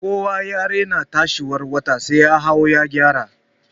Kowa ya raina tsayiwar wata sai ya hau ya gyara.